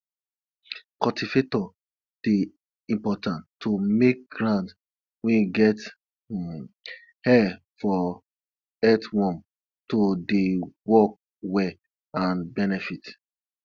cultivator dey important to make ground wey get um air for earthworm to dey work well and benefit